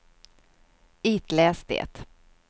itläs det